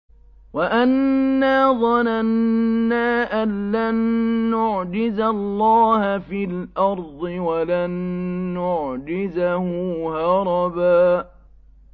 وَأَنَّا ظَنَنَّا أَن لَّن نُّعْجِزَ اللَّهَ فِي الْأَرْضِ وَلَن نُّعْجِزَهُ هَرَبًا